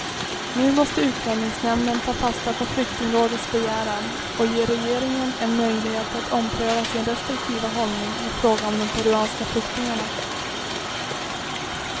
Nu måste utlänningsnämnden ta fasta på flyktingrådets begäran och ge regeringen en möjlighet att ompröva sin restriktiva hållning i fråga om de peruanska flyktingarna.